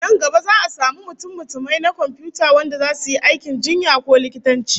Nan gaba za'a samu mutummutumai na komfiyuta wanda zasu yi aikin jinya ko likitanci